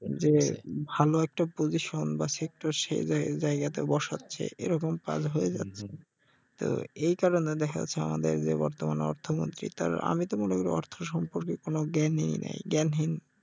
যে ভালো একটা পজিশন বা সেক্টর সে জায়~জায়গাতে বসাচ্ছে এরকম কাজ হয়ে যাচ্ছে তো এই কারনে দেখা যাচ্ছে যে আমাদের বর্তমান যে অর্থমন্ত্রী তার আমি তো মনে করি অর্থ সম্পর্কে কোন জ্ঞানই নাই জ্ঞানহীন